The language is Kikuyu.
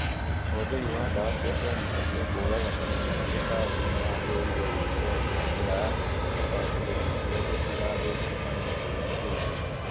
ũhũthĩra wa ndawa cia kemiko cia kũraga mĩrimũ na tũtambi nĩ wagĩrĩiruo gwĩkwo na njĩra ya ũbacĩrĩru nĩguo gũtigathũkie marĩa matũrigicĩirie.